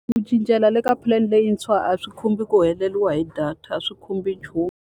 Ku cincela le ka plan leyintshwa a swi khumbi ku heleriwa hi data, a swi khumbi nchumu.